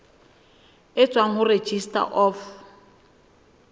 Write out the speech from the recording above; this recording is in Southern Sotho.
e tswang ho registrar of